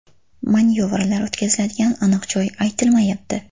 Manyovrlar o‘tkaziladigan aniq joy aytilmayapti.